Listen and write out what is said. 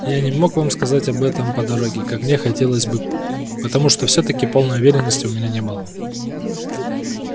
я не мог вам сказать об этом по дороге как мне хотелось бы потому что всё-таки полной уверенности у меня не было